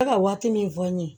Bɛ ka waati min fɔ n ye